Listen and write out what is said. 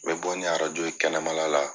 N bɛ bɔ ni ye kɛnɛmala la